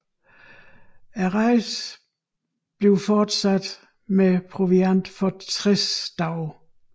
Rejsen fortsattes med proviant for 60 dage